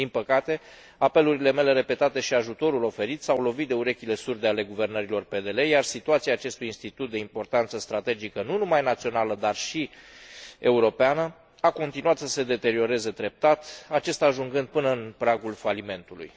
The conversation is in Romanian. Din păcate, apelurile mele repetate și ajutorul oferit s au lovit de urechile surde ale guvernărilor PDL, iar situația acestui institut de importanță strategică, nu numai națională, dar și europeană, a continuat să se deterioreze treptat, acesta ajungând până în pragul falimentului.